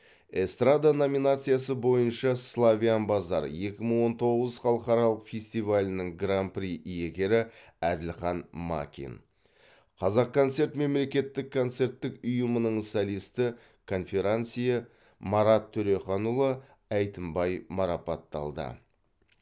эстрада номинациясы бойынша славян базар екі мың он тоғыз халықаралық фестивалінің гран при иегері әділхан макин қазақконцерт мемлекеттік концерттік ұйымының солисті конферансье марат төреханұлы әйтімбай марапатталды